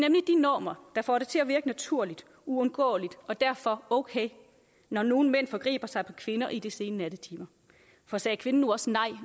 normer der får det til at virke naturligt uundgåeligt og derfor okay når nogle mænd forgriber sig på kvinder i de sene nattetimer for sagde kvinden nu også nej